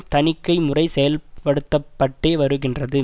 தணிக்கை முறை செயல்படுத்தப்பட்டே வருகின்றது